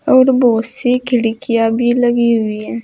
और बहोत सी खिड़कियां भी लगी हुई हैं।